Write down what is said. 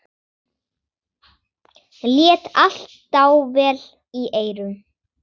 Lét allt dável í eyrum.